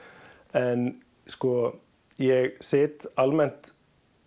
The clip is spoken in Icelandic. en sko ég sit almennt